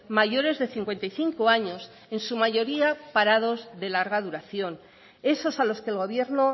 mayores de cincuenta y cinco años en su mayoría parados de larga duración esos a los que el gobierno